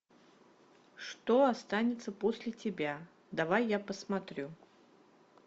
что останется после тебя давай я посмотрю